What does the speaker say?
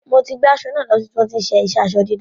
Mo ti gbé aṣọ náà lo sí ibi tí wọ́n ti ń ṣe aró-dídà.